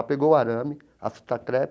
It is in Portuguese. Ela pegou o arame, a fita crepe,